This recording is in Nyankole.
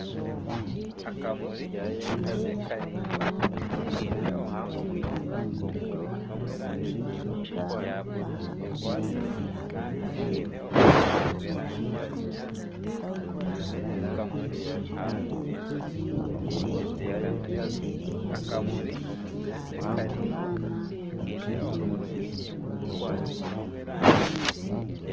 Nindeeba abaana bari baingi bari omu rugudo nibaruga kutaha amaizi bari aha rubanju rw'omuhanda saidi endijo hariyo emiti, abaana baingi nibaruga kutaha amaizi